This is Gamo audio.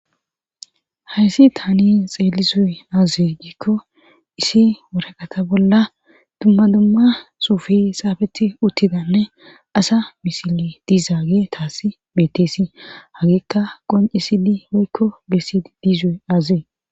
Hayssi taani xeeli zuye aaze giikko isi woraqata bolla dumma dumma suufi saafeti uttidanne asa misile diizaage taasi bettesi hagiikka qoncisidi oykko besii dizuye azee.